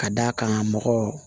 Ka d'a kan mɔgɔ